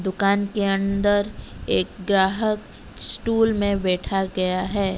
दुकान के अंदर एक ग्राहक स्टूल में बैठा गया है।